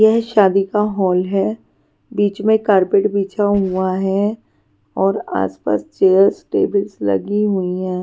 यह शादी का हॉल है बीच में कारपेट बिछा हुआ है और आसपास चेयर्स टेबल्स लगी हुई हैं.